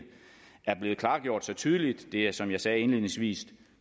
er blevet klargjort så tydeligt og det er som jeg sagde indledningsvis